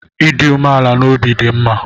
Ịdị umeala n'obi dị mma